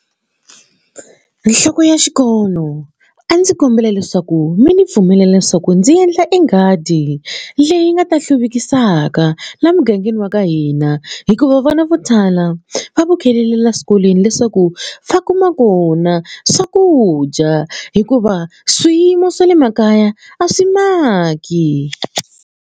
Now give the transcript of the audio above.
Nhloko ya xikolo a ndzi kombela leswaku mi ndzi pfumelela leswaku ndzi endla e nghadi leyi nga ta hluvukisaka laha mugangeni wa ka hina hikuva vana vo tala va laha swikolweni leswaku va kuma kona swakudya hikuva swiyimo swa le makaya a swi maki.